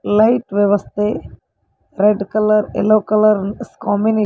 light ವ್ಯವಸ್ಥೆ red colour yellow colour ಕಾಂಬಿನೆ --